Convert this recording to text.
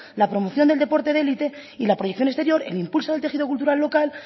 la promoción del deporte de élite y la proyección exterior el impulso del tejido cultural local